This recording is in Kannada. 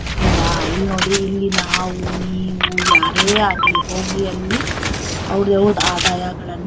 ಅಲ್ಲವಾ ಇಲ್ಲಿ ನೋಡಿ ನಾವು ನೀವು ಯಾರೇ ಆಗ್ಲಿ ಹೋಗಿ ಅಲ್ಲಿ ಅವ್ರ್ ಅವರ್ದು ಆದಾಯಗಳನ್ನ.